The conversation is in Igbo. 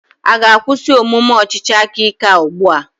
Ị ga-akwụsị omume ọchịchị aka ike a ugbu a?